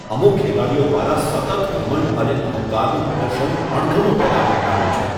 અમુક ખેલાડીઓ દ્વારા સતત ઘમંડ અને અહંકારનું પ્રદર્શન અણગમો પેદા કરનારું છે.